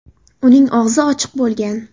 Uning og‘zi ochiq bo‘lgan.